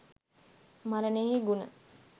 මරණයෙහි ගුණ